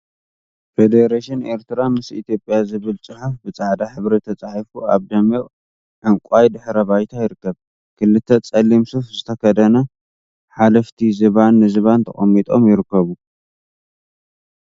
ፈደረሽን ኤርትራ ምስ ኢትዮጵያ ዝብል ፅሑፍ ብጻዕዳ ሕብሪ ተጻሒፉ ኣብ ደሚቅ ዕንቃይ ድሕረ ባይታ ይርከብ። ክልተ ፀሊም ሱፍ ዝተከደኑ ሓለፍቲ ዝባን ንዝባን ተቀሚጦም ይርከቡ።